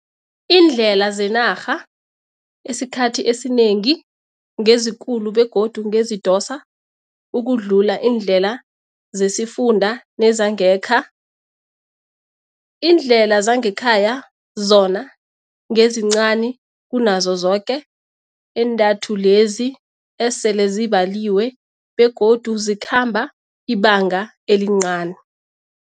Iindlela zenarha esikhathi esinengi ngezikulu begodi ngezidosa ukudlula iindlela zesifunda nezangekha. Iindlela zangekhaya zona ngezincani kunazo zoke entathu lezi esele zibaliwe begodu zikhamba ibanga elincani.